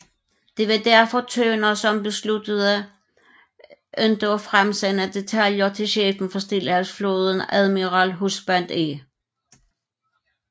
Det var derfor Turner som besluttede ikke at fremsende detaljer til chefen for Stillehavsflåden admiral Husband E